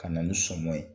Ka na ni sɔmɔn ye